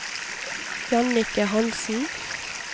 Jannicke Hanssen